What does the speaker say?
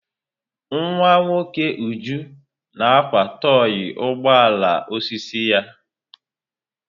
Nwa nwoke Uju na-akwa tọị ugbo ala osisi ya.